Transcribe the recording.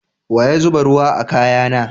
Wa ya zuba ruwa a kaya na?